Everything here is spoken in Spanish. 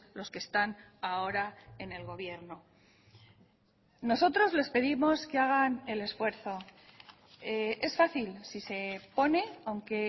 los que están ahora en el gobierno nosotros les pedimos que hagan el esfuerzo es fácil si se pone aunque